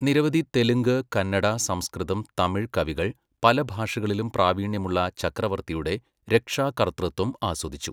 നിരവധി തെലുങ്ക്, കന്നഡ, സംസ്കൃതം, തമിഴ് കവികൾ പല ഭാഷകളിലും പ്രാവീണ്യമുള്ള ചക്രവർത്തിയുടെ രക്ഷാകർതൃത്വം ആസ്വദിച്ചു.